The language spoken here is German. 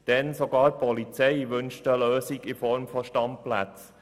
Denn sogar die Polizei wünscht eine Lösung in Form von Standplätzen.